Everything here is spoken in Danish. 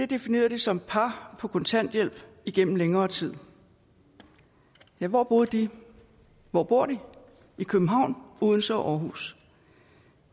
definerede de som par på kontanthjælp igennem længere tid ja hvor boede de hvor bor de i københavn odense og aarhus